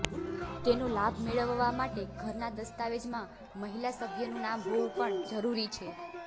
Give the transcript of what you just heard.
તેનો લાભ મેળવવા માટે ઘરના દસ્તાવેજમાં મહિલા સભ્યનું નામ હોવું પણ જરુરી છે